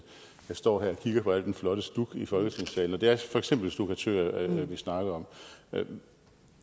jeg står her og kigger på al den flotte stuk i folketingssalen og det er for eksempel stukkatører vi snakker om